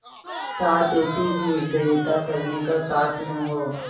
साथ ऐसी निर्दयता करने का साहस न हो